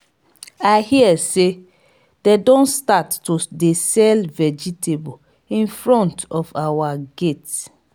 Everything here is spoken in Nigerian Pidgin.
i hear say dey don start to dey sell vegetable in front of our gate